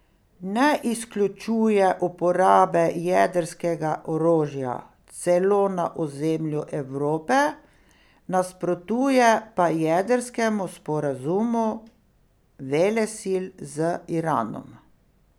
Ne izključuje uporabe jedrskega orožja, celo na ozemlju Evrope, nasprotuje pa jedrskemu sporazumu velesil z Iranom.